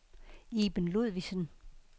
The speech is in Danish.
Iben Ludvigsen